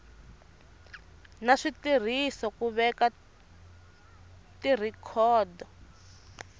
na switirhiso ku veka tirhikhodo